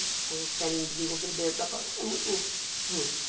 Então, querem desenvolver dentro da prova, o que é muito justo.